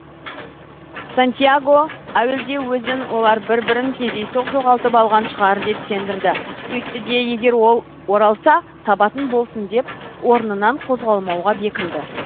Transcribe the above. сантьяго әуелде өзін олар бір бірін кездейсоқ жоғалтып алған шығар деп сендірді сөйтті де егер ол оралса табатын болсын деп орнынан қозғалмауға бекінді